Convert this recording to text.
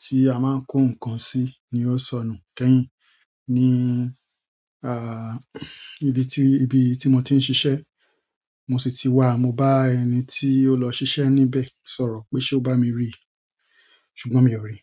tí a máa ń kó nǹkan sí ni ó sọnù kẹ́yìn. Ni ibi tí, níbi tí ibi mo ti ń ṣiṣẹ́ mo sì ti wá, mo bá ẹni tí ó lọ ṣiṣẹ́ níbẹ̀ sọ̀rọ̀ pé ṣe ó bá mi ríì ṣùgbọ́n mi ò ri.